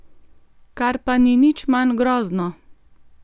Kar pa ni nič manj grozno!